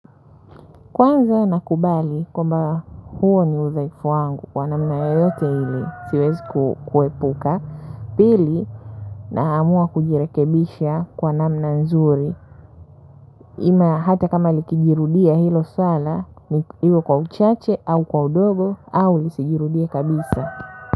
Kwanza nakubali kwamba huo ni udhaifu wangu kwa namna yoyote ili siwezi kuepuka pili naamua kujirekebisha kwa namna nzuri na hata kama likijirudia hilo swala ni iwe kwa uchache au kwa udogo au lisijirudie kabisa.